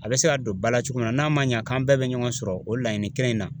A bɛ se ka don bala cogo min na n'a ma ɲa k'an bɛɛ be ɲɔgɔn sɔrɔ o laɲini kelen in na